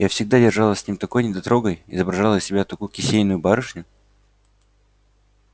я всегда держалась с ним такой недотрогой изображала из себя такую кисейную барышню